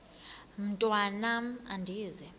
mntwan am andizi